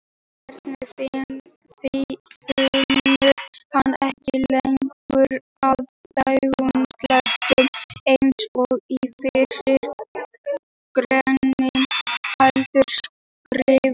Í svarinu finnur hann ekki lengur að dönskuslettum eins og í fyrri greininni heldur skrifar: